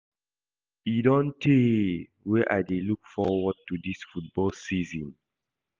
E don tey wey I dey look forward to dis football season